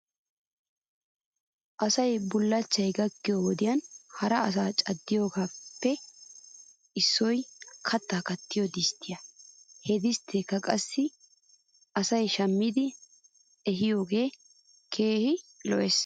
Asay bullachchay gakkiyoo wodiyan hara asaa caddiyoobaappe issoy kattaa kattiyoo disttiyaa. He distteekka qassi asay shammidi ehiyoogee keehi lo'es .